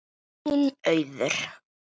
Þín, Auður.